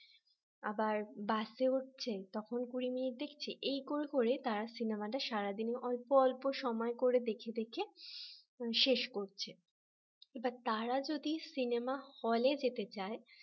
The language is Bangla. আবার বাসে উঠছে তখন কুড়ি মিনিট দেখছি এই করে করে তারা সিনেমাটা সারা দিনে অল্প অল্প সময় করে দেখে দেখে শেষ করছে এবার তারা যদি সিনেমা হলে যেতে চাই